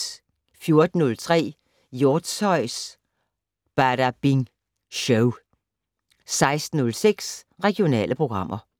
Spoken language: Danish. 14:03: Hjortshøjs Badabing Show 16:06: Regionale programmer